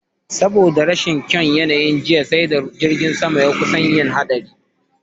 Saboda rashin kyaun yanayin jiya, sai da jirgin sama ya kusan yin hatsari.